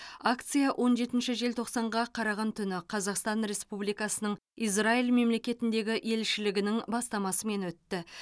акция он жетінші желтоқсанға қараған түні қазақстан республикасының израиль мемлекетіндегі елшілігінің бастамасымен өтті